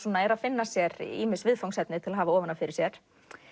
er að finna sér ýmis viðfangsefni til að hafa ofan af fyrir sér